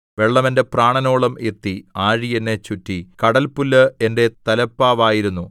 വെള്ളം എന്റെ പ്രാണനോളം എത്തി ആഴി എന്നെ ചുറ്റി കടൽപുല്ല് എന്റെ തലപ്പാവായിരുന്നു